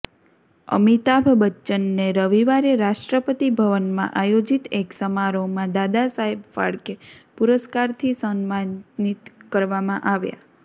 અમિતાભ બચ્ચનને રવિવારે રાષ્ટ્રપતિ ભવનમાં આયોજિત એક સમારોહમાં દાદા સાબેહ ફાળકે પુરસ્કારથી સમ્માનિત કરવામાં આવ્યા